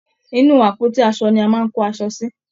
inú àpótí aṣo ni a máa ń kó aṣọ sí.